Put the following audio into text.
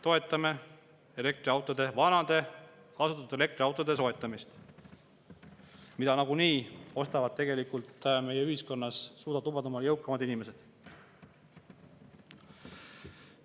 Toetame vanade, kasutatud elektriautode soetamist, mida meie ühiskonnas tegelikult nagunii suudavad lubada ja ostavad jõukamad inimesed.